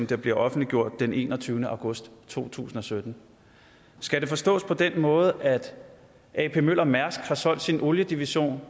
der bliver offentliggjort den enogtyvende august to tusind og sytten skal det forstås på den måde at ap møller mærsk har solgt sin oliedivision